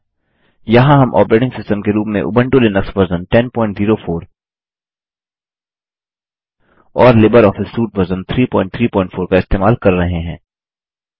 यहाँ हम operating system के रूप में उबंटू लिनक्स वर्ज़न 1004 और लिबर ऑफिस सूट वर्ज़न 334 इस्तेमाल कर रहे हैं